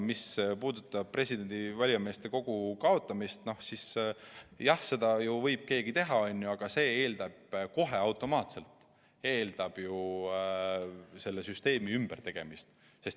Mis puudutab valijameeste kogu kaotamist, siis jah, seda võib keegi teha, aga see eeldab kohe automaatselt kogu süsteemi ümbertegemist.